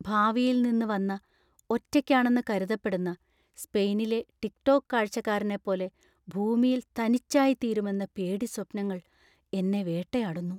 ഭാവിയിൽ നിന്ന് വന്ന, ഒറ്റയ്ക്കാണെന്ന് കരുതപ്പെടുന്ന, സ്പെയിനിലെ ടിക് ടോക്ക് കാഴ്ചക്കാരനെപ്പോലെ ഭൂമിയിൽ തനിച്ചായിത്തീരുമെന്ന പേടിസ്വപ്നങ്ങൾ എന്നേ വേട്ടയാടുന്നു.